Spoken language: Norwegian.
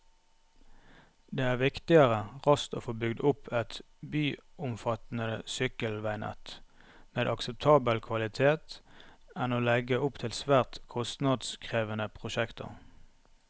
Det er viktigere raskt å få bygd opp et byomfattende sykkelveinett med akseptabel kvalitet enn å legge opp til svært kostnadskrevende prosjekter.